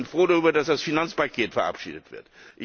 Ich bin froh darüber, dass das Finanzpaket verabschiedet wird.